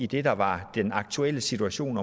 det der var den aktuelle situation